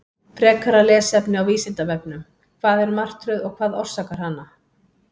Frekara lesefni á Vísindavefnum: Hvað er martröð og hvað orsakar hana?